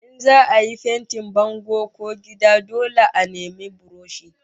In za'a yi fentin bango ko gida dole a nemi buroshi